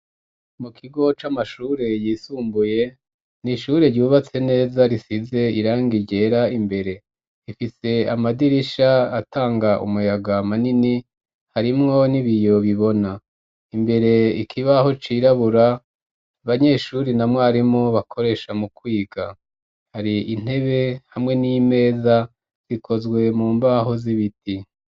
Mu kigo c'amashure yisumbuye n'ishure ryubatse neza risize irangi ryera imbere ifise amadirisha atanga umuyaga manini harimwo n'ibiyo bibona imbere ikibaho cirabura banyeshuri na mwarimu bakoresha mu kwiga, hari intebe hamwe n'imeza rikozwe mu mbaho z'ibiti.